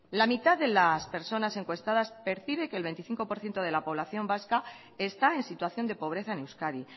la mitad de las personas encuestadas percibe que el veinticinco por ciento de la población vasca está en situación de pobreza en euskadi